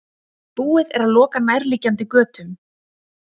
Búið er að loka nærliggjandi götum